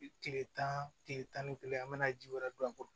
Tile tan tile tan ni kelen an bɛna ji wɛrɛ don a kɔrɔ